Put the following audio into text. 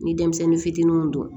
Ni denmisɛnnin fitininw don